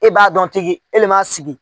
E b'a dɔn tigi e le m'a sigi.